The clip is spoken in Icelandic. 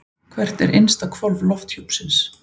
Hvert er innsta hvolf lofthjúpsins?